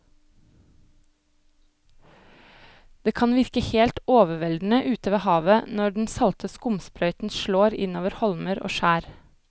Det kan virke helt overveldende ute ved havet når den salte skumsprøyten slår innover holmer og skjær.